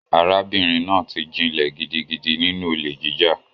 Arábìnrin náà ti jinlẹ̀ gidigidi nínú olè jíjà.